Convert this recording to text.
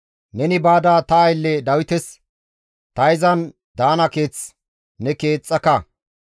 «Neni baada ta aylle Dawites: Ta izan daana keeth ne keexxaka.